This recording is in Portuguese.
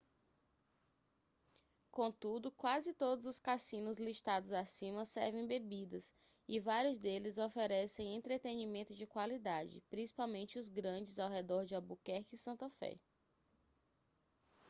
contudo quase todos os cassinos listados acima servem bebidas e vários deles oferecem entretenimento de qualidade principalmente os grandes ao redor de albuquerque e santa fé